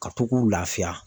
Ka to k'u laafiya.